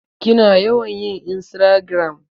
Kina yawan yin insragiram?